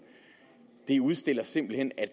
det udstiller simpelt hen at